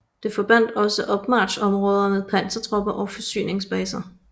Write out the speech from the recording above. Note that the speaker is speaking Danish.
Det forbandt også opmarchområder for pansertropper og forsyningsbaser